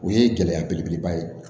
O ye gɛlɛya belebeleba ye